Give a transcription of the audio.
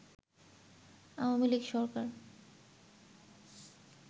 Awami League Sarkar